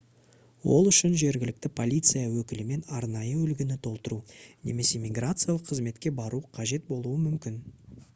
ол үшін жергілікті полиция өкілімен арнайы үлгіні толтыру немесе миграциялық қызметке бару қажет болуы мүмкін